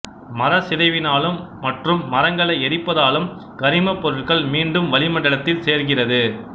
மர சிதைவினாலும் மற்றும் மரங்களை எரிப்பதாலும் கரிமப் பொருள் மீண்டும் வளிமண்டலத்தில் சேர்கிறது